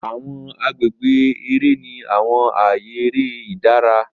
Awọn agbègbè eré ní àwọn ààyè eré ìdára.